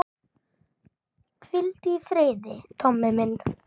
Hvíldu í friði, Tommi minn.